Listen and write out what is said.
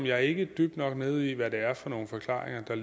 jeg ikke er dybt nok nede i hvad det er for nogle forklaringer der